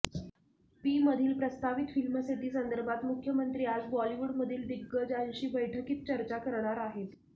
पीमधील प्रस्तावित film city संदर्भात मुख्यमंत्री आज बॉलिवूडमधील दिग्गजांशी बैठकीत चर्चा करणार आहेत